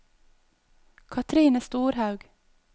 Cathrine Storhaug